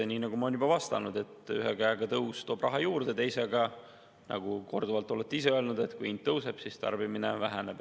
Nii nagu ma olen juba vastanud, et ühe käega toob tõus raha juurde, teiselt poolt, nagu korduvalt olete ise öelnud, on nii, et kui hind tõuseb, siis tarbimine väheneb.